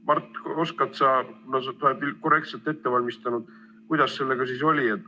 Mart, oskad sa öelda, kuna sa oled nüüd korrektselt ette valmistanud, kuidas sellega siis oli?